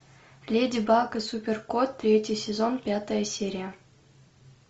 леди баг и супер кот третий сезон пятая серия